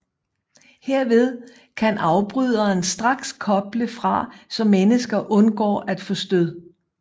Herved kan afbryderen straks koble fra så mennesker undgår at få stød